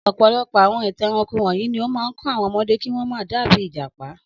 Ọ̀pọ̀lọpọ̀ àwọn ìtàn ẹranko wọ̀nyí ni ó máa ń kọ́ àwọn ọmọdé kí wọ́n má dàbí ìjàpá.